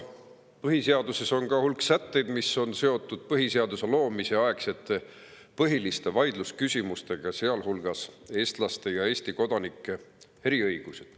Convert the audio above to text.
Põhiseaduses on ka hulk sätteid, mis on seotud põhiseaduse loomise aegsete põhiliste vaidlusküsimustega, sealhulgas on eestlaste ja Eesti kodanike eriõigused.